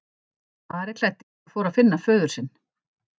Ari klæddist og fór að finna föður sinn.